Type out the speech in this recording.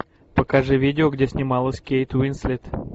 покажи видео где снималась кейт уинслет